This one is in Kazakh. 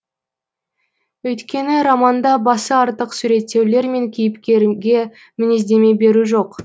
өйткені романда басы артық суреттеулер мен кейіпкерге мінездеме беру жоқ